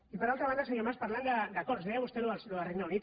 i per altra banda senyor mas parlant d’acords deia vostè allò del regne unit